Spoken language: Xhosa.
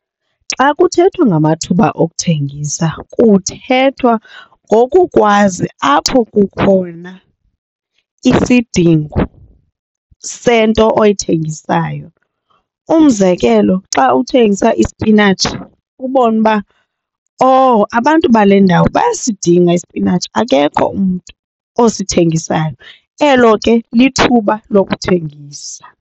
Xa kuthethwa ngamathuba okuthengisa kuthethwa ngokukwazi apho kukhona isidingo sento oyithengisayo. Umzekelo, xa uthengisa isipinatshi ubone uba oh abantu bale ndawo bayasidinga isipinatshi akekho umntu osithengisayo. Elo ke lithuba lokuthengisa.